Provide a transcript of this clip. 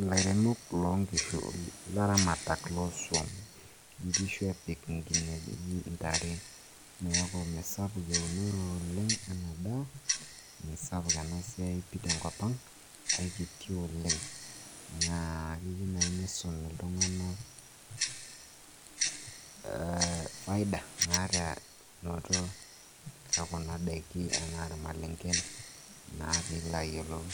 ilaramatak. inkishu epik, intare, neeku mesapuk eunore oleng',ena daa misapuk ena siai, pii tenkop ang' aikiti oleng' naa keyieu naaji nisumi iltung'anak naata kuna daiki anaa irmalenken naa pee ilo ayiolou.